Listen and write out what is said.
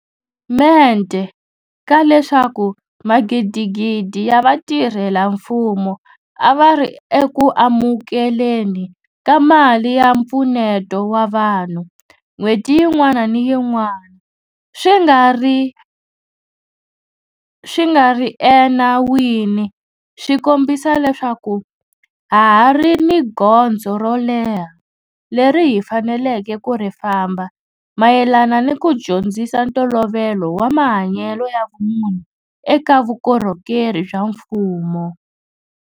Mente ka leswaku magidigidi ya vatirhela mfumo a va ri eku amukele ni ka mali ya mpfuneto wa vanhu n'hweti yin'wana ni yin'wana swi nga ri enawini swi kombisa leswaku ha ha ri ni gondzo ro leha leri hi faneleke ku ri famba mayelana ni ku dyondzisa ntolovelo wa mahanyelo ya vumunhu eka vukorhokeri bya mfumo.